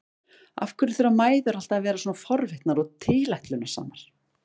Af hverju þurfa mæður alltaf að vera svona forvitnar og tilætlunarsamar?